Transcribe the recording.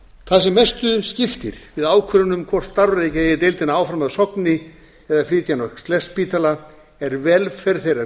það sem mestu skiptir við ákvörðun um hvort starfrækja eigi deildina áfram að sogni eða flytja hana á kleppsspítala er velferð þeirra